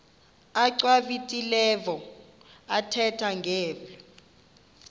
achwavitilevo ethetha ngeli